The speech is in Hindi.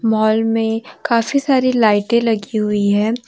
हॉल में काफी सारी लाइटे लगी हुई है।